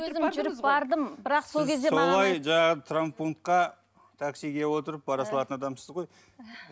өзім жүріп бардым бірақ сол кезде маған солай жаңағы травмпунктқа таксиге отырып бара салатын адамсыз ғой